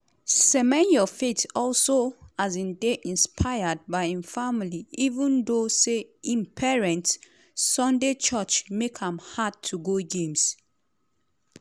semenyo faith also um dey inspired by im family even though say im parents' sunday church make am "hard to go games".